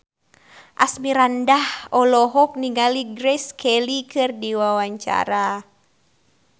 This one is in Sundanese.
Asmirandah olohok ningali Grace Kelly keur diwawancara